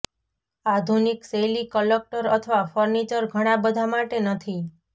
આધુનિક શૈલી ક્લટર અથવા ફર્નિચર ઘણાં બધાં માટે નથી